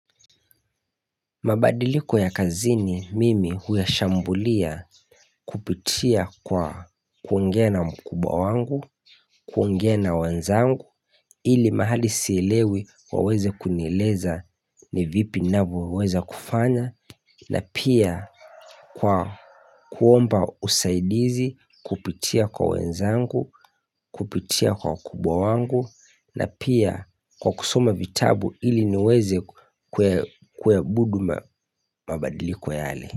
Mabadiliko ya kazini mimi huya shambulia kupitia kwa kuongea na mkubwa wangu, kuongea na wenzangu, ili mahali siilewi waweze kunieleza ni vipi navyo weza kufanya, na pia kwa kuomba usaidizi kupitia kwa wanzangu, kupitia kwa wakubwa wangu, na pia kwa kusoma vitabu ili niweze kuwabudu mabadiliko yale.